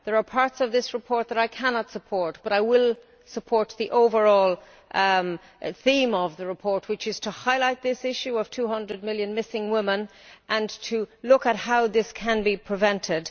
There are parts of this report that I cannot support, but I will support the overall theme of the report, which is to highlight this issue of 200 million missing women and to look at how this can be prevented.